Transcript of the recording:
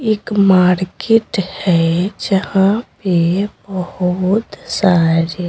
एक मार्केट है जहां पे बहुत सारी--